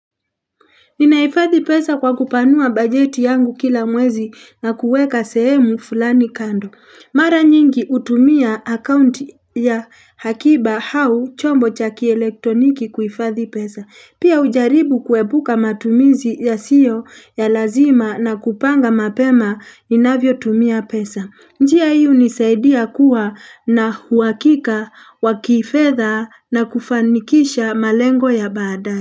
Ninaifadhi pesa kwa kupanua bajeti yangu kila mwezi na kuweka sehemu fulani kando. Mara nyingi utumia account ya hakiba hau chombo cha kielektroniki kuifadhi pesa. Pia ujaribu kuebuka matumizi yasio ya lazima na kupanga mapema inavyotumia pesa. Njia hii hunisaidia kuwa na huakika wa kifedha na kufanikisha malengo ya baada.